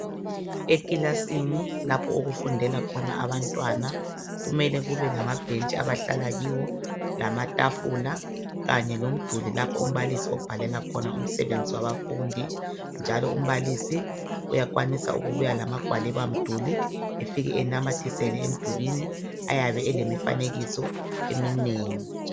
Ekilasini lapho okufundela khona abantwana kumele kube lamabhentshi abahlala kiwo, lamatafula kanye lomduli lapho umbalisi obhalela khona umsebenzi wabafundi njalo umbalisi uyakwanisa ukubuya lamagwaliba mduli afike anamathisele emdulwini ayabe elemifanekiso eminengi.